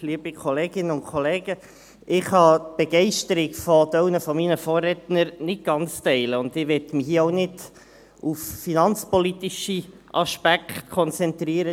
Ich kann die Begeisterung eines Teils meiner Vorredner nicht ganz teilen, und ich möchte mich hier auch nicht auf finanzpolitische Aspekte konzentrieren.